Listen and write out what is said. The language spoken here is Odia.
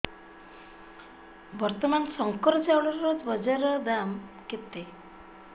ବର୍ତ୍ତମାନ ଶଙ୍କର ଚାଉଳର ବଜାର ଦାମ୍ କେତେ